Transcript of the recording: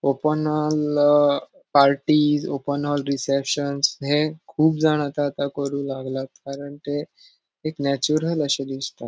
Open hall अ parties open hall reception ये कुब जान आता आता करु लागला कारण ते एक नेचुरल अशे दिसता.